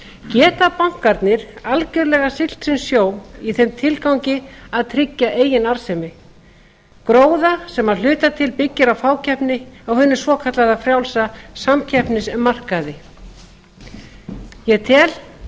geta bankarnir algjörlega siglt sinn sjó í þeim tilgangi að tryggja eigin arðsemi gróða sem að hluta til byggir á fákeppni á hinum svokallaða frjálsa samkeppnismarkaði ég tel